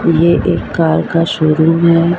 ये एक कार का शोरूम हैं।